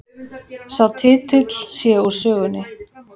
Sá titill sé úr sögunni